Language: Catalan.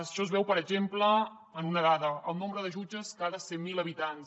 això es veu per exemple en una dada el nombre de jutges per cada cent mil habitants